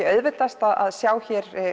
auðveldast að sjá